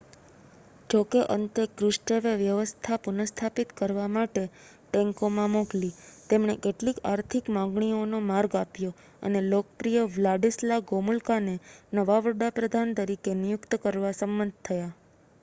જોકે અંતે ક્રુશચેવે વ્યવસ્થા પુનઃસ્થાપિત કરવા માટે ટેન્કોમાં મોકલી તેમણે કેટલીક આર્થિક માંગણીઓનો માર્ગ આપ્યો અને લોકપ્રિય વ્લાડિસ્લા ગોમુલકાને નવા વડા પ્રધાન તરીકે નિયુક્ત કરવા સંમત થયા